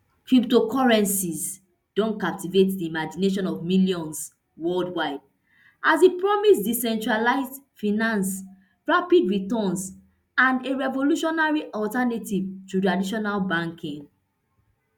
cryptocurrencies don captivate di imagination of millions worldwide as e promise decentralised finance rapid returns and a revolutionary alternative to traditional banking